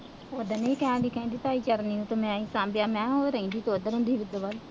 ਉਹ ਦਿਨ ਨਹੀਂ ਕਹਿਣ ਡੇਈ ਸੀ ਕਹਿੰਦੀ ਭਾਈ ਚਰਨਜੀਤ ਮੈਂ ਹੀ ਸ਼ਾਂਭਿਆਂ, ਮੈਂ